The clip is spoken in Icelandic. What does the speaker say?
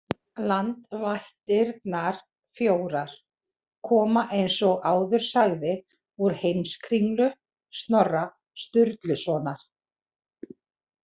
Landvættirnar fjórar koma eins og áður sagði úr Heimskringlu Snorra Sturlusonar.